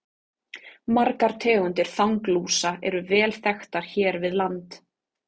Margar tegundir þanglúsa eru vel þekktar hér við land.